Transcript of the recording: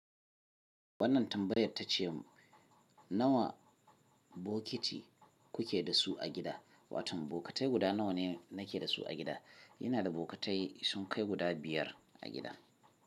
Wannan tambayar tace nawa bokiti kuke da su a gida? Wato bokitai guda nawa ne nake da su a gida? Ina da bokitai sun kai guda biyar a gida.